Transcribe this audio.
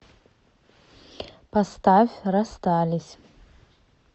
поставь расстались